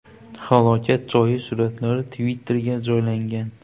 Halokat joyi suratlari Twitter’ga joylangan.